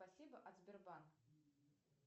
спасибо от сбербанка